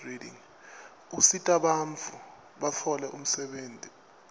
usitabantfu batfole umsebtniti